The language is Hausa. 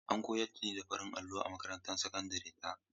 An koyar da ni da farin allo a makarantar sakandare ta.